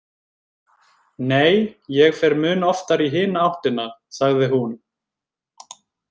Nei, ég fer mun oftar í hina áttina, sagði hún.